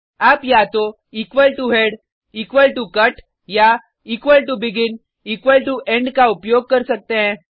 आप या तो head cut या begin end का उपयोग कर सकते हैं